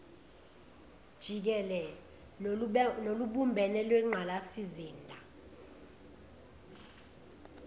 jikele nolubumbene lwengqalasizinda